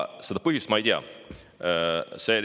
Seda põhjust ma ei tea.